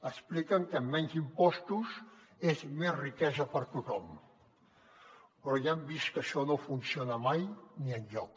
expliquen que menys impostos és més riquesa per a tothom però ja han vist que això no funciona mai ni enlloc